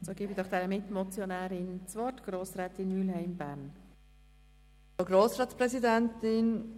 Dann gebe ich doch der Mitmotionärin, Grossrätin Mühlheim, das Wort.